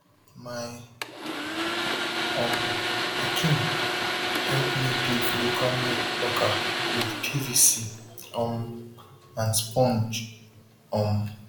my um pikin help me build local made plucker with pvc um and sponge um